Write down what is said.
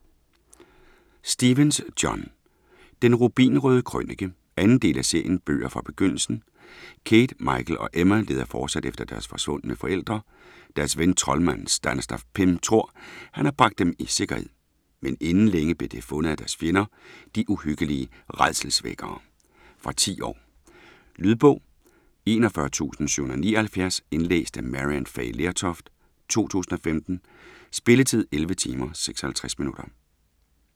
Stephens, John: Den rubinrøde krønike 2. del af serien Bøger fra Begyndelsen. Kate, Michael og Emma leder fortsat efter deres forsvundne forældre. Deres ven, troldmanden Stanislav Pym tror, at han har bragt dem i sikkerhed, men inden længe bliver de fundet af deres fjender, de uhyggelige rædselsvækkere. Fra 10 år. Lydbog 41779 Indlæst af Maryann Fay Lertoft, 2015. Spilletid: 11 timer, 56 minutter.